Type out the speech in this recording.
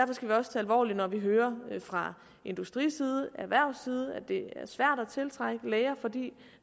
alvorligt når vi hører fra industriside erhvervsside at det er svært at tiltrække læger fordi